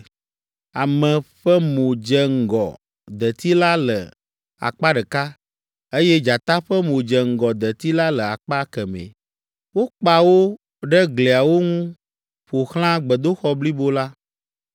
Ame ƒe mo dze ŋgɔ deti la le akpa ɖeka, eye dzata ƒe mo dze ŋgɔ deti la le akpa kemɛ. Wokpa wo ɖe gliawo ŋu ƒo xlã gbedoxɔ blibo la.